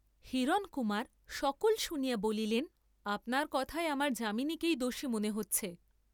হিরণকুমার সকল শুনিয়া বলিলেন আপনার কথায় আমার যামিনীকেই দোষী মনে হচ্ছে।